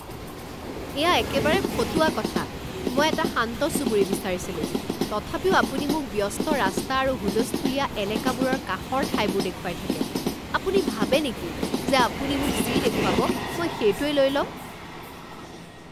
এয়া একেবাৰে ফটুৱা কথা। মই এটা শান্ত চুবুৰী বিচাৰিছিলো, তথাপিও আপুনি মোক ব্যস্ত ৰাস্তা আৰু হুলস্থূলীয়া এলেকাবোৰৰ কাষৰ ঠাইবোৰ দেখুৱাই থাকে। আপুনি ভাবে নেকি যে আপুনি মোক যি দেখুৱাব মই সেইটোৱে লৈ ল'ম?